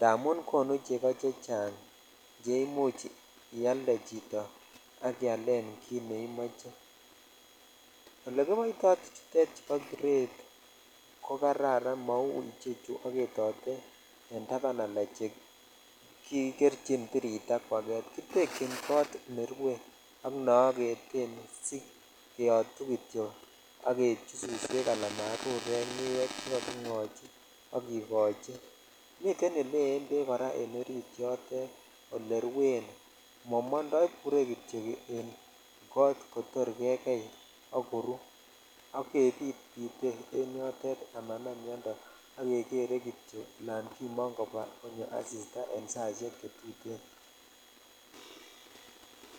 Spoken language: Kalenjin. smun konu cheko chechang che imuch ialde chito ak ialen kit neimoche olekoboito tuchutet boo grade ko kararan mou chu bendode ala chu kikerchin tiritaa kwaget kitekyin kot nerue ak ole ogeten kityok ak keibchi suswek ak marurek chekogingochi miten ole yen bek kora en orit yotet ak oleruen momondo ibure jityok en koo kotor kekei ak koru ak keripe en yotet kebite amanam miondoo ak kimongu kou asitaa che tuten.